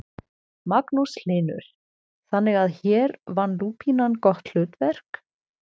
Magnús Hlynur: Þannig að hér vann lúpínan gott hlutverk?